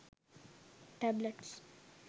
tablets